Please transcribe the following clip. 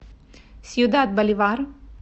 сьюдад боливар